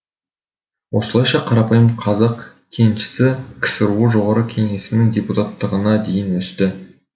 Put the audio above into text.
осылайша қарапайым қазақ кеншісі ксро жоғары кеңесінің депутаттығына дейін өсті